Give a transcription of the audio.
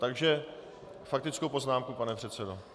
Takže faktickou poznámku, pane předsedo.